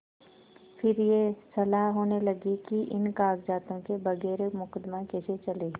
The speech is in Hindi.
फिर यह सलाह होने लगी कि इन कागजातों के बगैर मुकदमा कैसे चले